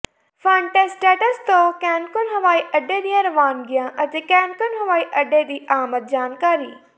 ਫਨਟਸਟੈਟਸ ਤੋਂ ਕੈਨਕੁਨ ਹਵਾਈ ਅੱਡੇ ਦੀਆਂ ਰਵਾਨਗੀਆਂ ਅਤੇ ਕੈਨਕੂਨ ਹਵਾਈ ਅੱਡੇ ਦੀ ਆਮਦ ਜਾਣਕਾਰੀ